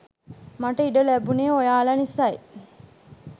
මට ඉඩ ලැබුණේ ඔයාලා නිසයි.